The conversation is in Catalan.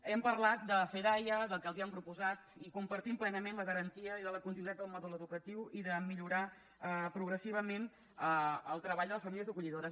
hem parlat de fedaia del que els han proposat i compartim plenament la garantia i la continuïtat del mòdul educatiu i de millorar progressivament el treball de les famílies acollidores